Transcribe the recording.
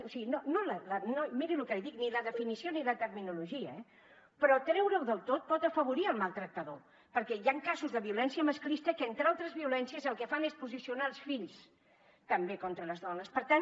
o sigui miri lo que li dic ni la definició ni la terminologia eh però treureho del tot pot afavorir el maltractador perquè hi han casos de violència masclista que entre altres violències el que fan és posicionar els fills també contra les dones per tant